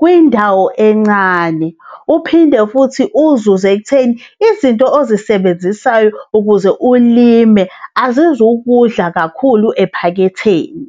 kwindawo encane, uphinde futhi uzuze ekutheni izinto ozisebenzisayo ukuze ulimi azizukudla kakhulu ephaketheni.